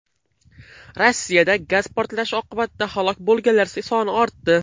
Rossiyada gaz portlashi oqibatida halok bo‘lganlar soni ortdi.